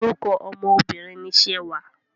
Orúkọ ọmọ Obìnrin ni Ṣewà.